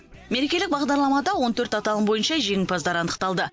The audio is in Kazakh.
мерекелік бағдарламада он төрт аталым бойынша жеңімпаздар анықталды